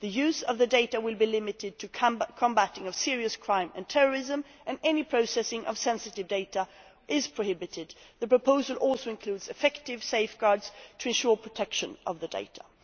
The use of the data will be limited to the combating of serious crime and terrorism and any processing of sensitive data is prohibited. The proposal also includes effective safeguards to ensure protection of the data.